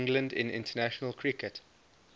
england in international cricket